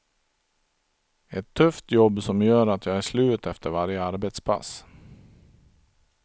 Ett tufft jobb som gör att jag är slut efter varje arbetspass.